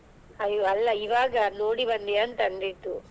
ಅಯ್ಯೋ ಅಲ್ಲಾ ಈವಾಗ ನೋಡಿ ಬಂದೀಯಾ ಅಂತ ಅಂದಿದ್ದು.